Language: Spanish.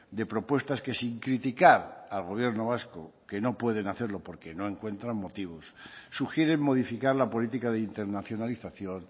de propuestas que sin criticar al gobierno vasco que no pueden hacerlo porque no encuentran motivos sugieren modificar la política de internacionalización